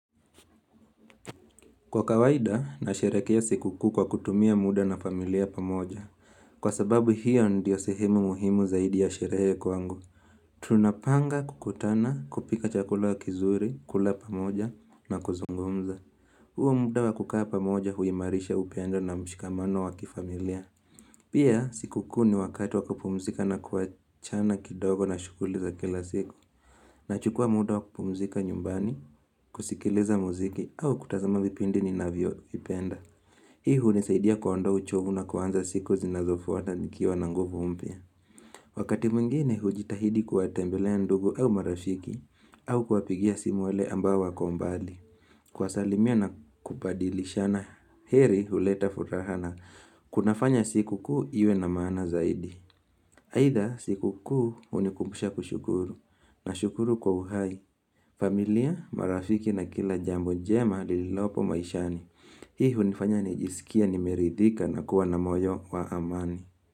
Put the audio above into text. Kwa kawaida, nasherekea siku kuu kwa kutumia muda na familia pamoja. Kwa sababu hiyo ndio sehemu muhimu zaidi ya sherehe kwangu. Tunapanga kukutana kupika chakula kizuri, kula pamoja na kuzungumza. Huo muda wa kukaa pamoja huimarisha upendo na mshikamano wa kifamilia. Pia siku kuu ni wakati wa kupumzika na kuachana kidogo na shuguli za kila siku. Na chukua muda wa kupumzika nyumbani, kusikiliza muziki au kutazama vipindi ni navyo vipenda. Hii hunisaidia kuondoa uchovu na kuanza siku zinazofuata nikiwa na nguvu mpya. Wakati mwingine hujitahidi kuwatembelea ndugu au marafiki au kuwapigia simu wale ambao wako mbali. Kuwasalimia na kupadilishana heri huleta furaha na kunafanya siku kuu iwe na maana zaidi. Aidha siku kuu unikumbusha kushukuru na shukuru kwa uhai. Familia marafiki na kila jambo jema lililopo maishani. Hii hunifanya nijisikie nimeridhika na kuwa na moyo wa amani.